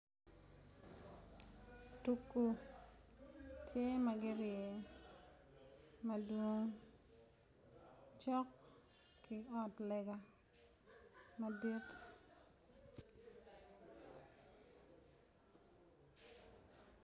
Tugu tye ma gurye madwong cok ki ot lega madit.